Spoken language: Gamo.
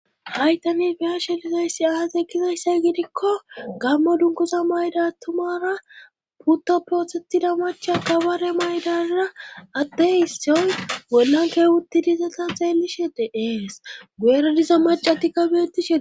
haytani biyashe lizayssi aas ekizayssay gidikko gammo dunkusa mayda tumara putto prothetida macha kabare maydara atte issioy gollan keewutti dizata xeellishe de7ees gu7era diza macati kabetishe